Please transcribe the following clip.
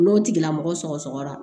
N'o tigilamɔgɔ sɔgɔsɔgɔra